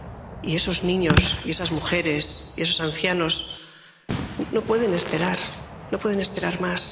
Y esos niños y esas mujeres y esos ancianos no pueden esperar, no pueden esperar